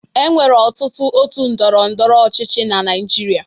E nwere ọtụtụ òtù ndọrọ ndọrọ ọchịchị na Naịjirịa.